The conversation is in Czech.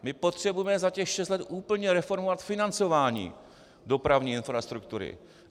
My potřebujeme za těch šest let úplně reformovat financování dopravní infrastruktury.